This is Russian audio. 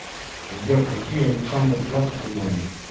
сбер какие александерплац ты знаешь